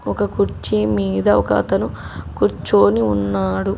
ఒక కుర్చీ మీద ఒకతను కూర్చొని ఉన్నాడు.